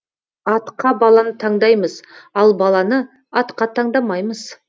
атқа баланы таңдаймыз ал баланы атқа таңдамаймыз